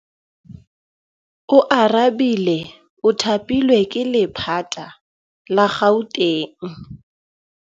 Oarabile o thapilwe ke lephata la Gauteng.